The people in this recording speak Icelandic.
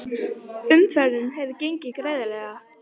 Umferðin hefur gengið greiðlega